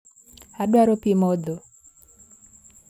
Adwaro pii modho